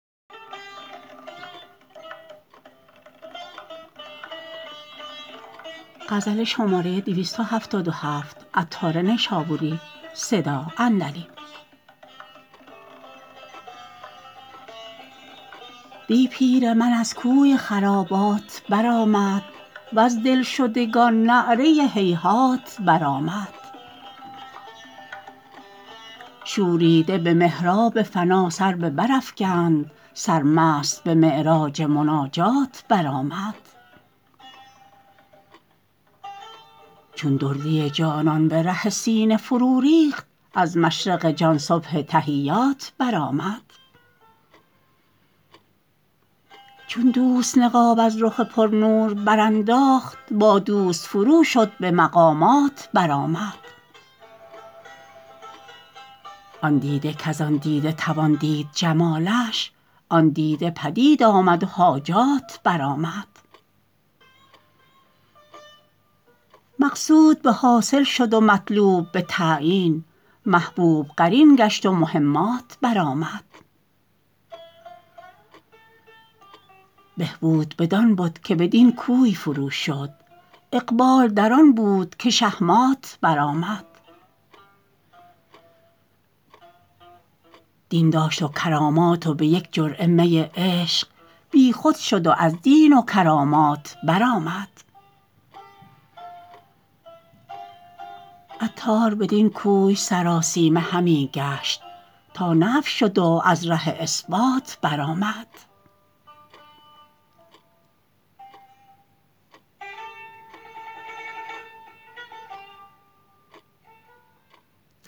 دی پیر من از کوی خرابات برآمد وز دلشدگان نعره هیهات برآمد شوریده به محراب فنا سر به برافکند سرمست به معراج مناجات برآمد چون دردی جانان به ره سینه فرو ریخت از مشرق جان صبح تحیات برآمد چون دوست نقاب از رخ پر نور برانداخت با دوست فرو شد به مقامات برآمد آن دیده کزان دیده توان دید جمالش آن دیده پدید آمد و حاجات برآمد مقصود به حاصل شد و طالب به تعین محبوب قرین گشت و مهمات برآمد بد باز جهان بود بدان کوی فروشد واقبال بدان بود که شهمات برآمد دین داشت و کرامات و به یک جرعه می عشق بیخود شد و از دین و کرامات برآمد عطار بدین کوی سراسیمه همی گشت تا نفی شد و از ره اثبات برآمد